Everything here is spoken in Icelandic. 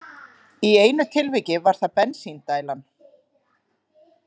Í einu tilviki var það „bensíndælan“.